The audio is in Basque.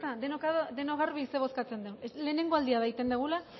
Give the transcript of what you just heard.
denok garbi zer bozkatzen dugun lehenengo aldia egiten dugula